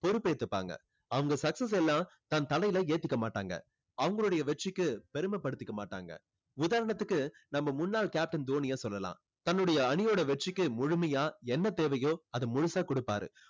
பொறுப்பேத்துப்பாங்க. அவங்க success எல்லாம் தன் தலையில ஏத்திக்க மாட்டாங்க. அவங்களுடைய வெற்றிக்கு பெருமை படுத்திக்க மாட்டாங்க. உதாரணத்துக்கு நம்ம முன்னால் captain தோனியை சொல்லலாம். தன்னுடைய அணியோட வெற்றிக்கு முழுமையா என்ன தேவையோ அதை முழுசா கொடுப்பாரு.